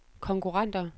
konkurrenter